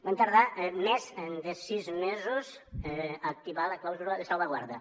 van tardar més de sis mesos a activar la clàusula de salvaguarda